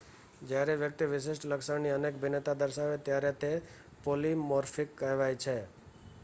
જ્યારે વ્યક્તિ વિશિષ્ટ લક્ષણની અનેક ભિન્નતા દર્શાવે ત્યારે તે પૉલિમૉર્ફિક કહેવાય છે